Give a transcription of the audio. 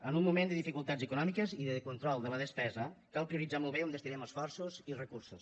en un moment de dificultats econòmiques i de control de la despesa cal prioritzar molt bé on destinem esforços i recursos